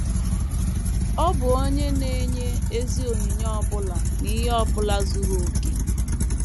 Ọ bụ Onye Na - enye “ ezi onyinye ọ bụla na ihe ọ bụla zuru okè. ”